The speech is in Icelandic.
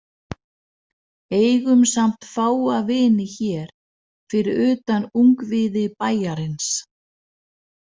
Eigum samt fáa vini hér fyrir utan ungviði bæjarins.